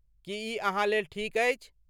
की ई अहाँ लेल ठीक अछि?